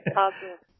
हां सर